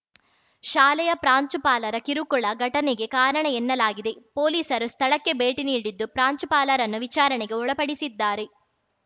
ಶಾಲೆಯ ಪ್ರಾಂಶುಪಾಲರ ಕಿರುಕುಳ ಘಟನೆಗೆ ಕಾರಣ ಎನ್ನಲಾಗಿದೆಪೊಲೀಸರು ಸ್ಥಳಕ್ಕೆ ಭೇಟಿ ನೀಡಿದ್ದು ಪ್ರಾಂಶುಪಾಲರನ್ನು ವಿಚಾರಣೆಗೆ ಒಳಪಡಿಸಿದ್ದಾರೆ